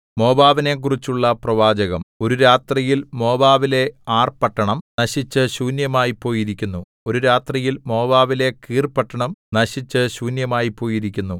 മോവാബിനെക്കുറിച്ചുള്ള പ്രവാചകം ഒരു രാത്രിയിൽ മോവാബിലെ ആർപട്ടണം നശിച്ചു ശൂന്യമായിപ്പോയിരിക്കുന്നു ഒരു രാത്രിയിൽ മോവാബിലെ കീർപട്ടണം നശിച്ചു ശൂന്യമായിപ്പോയിരിക്കുന്നു